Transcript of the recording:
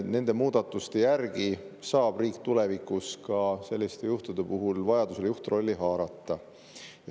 Nende muudatuste järgi saab riik tulevikus selliste juhtude puhul vajaduse korral juhtrolli haarata.